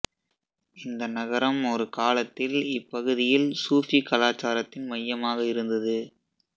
இந்த நகரம் ஒரு காலத்தில் இப்பகுதியில் சூஃபி கலாச்சாரத்தின் மையமாக இருந்தது